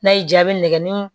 N'a y'i jaabi nɛgɛ ɲini